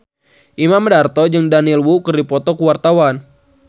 Imam Darto jeung Daniel Wu keur dipoto ku wartawan